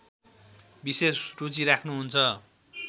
विशेष रुचि राख्‍नुहुन्छ